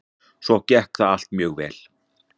Svo gekk það allt mjög vel.